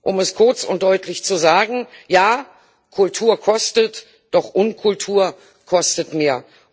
Um es kurz und deutlich zu sagen Ja, Kultur kostet, doch Unkultur kostet mehr.